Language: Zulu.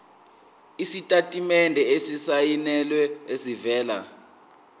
isitatimende esisayinelwe esivela